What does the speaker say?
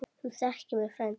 Þú þekkir mig frændi.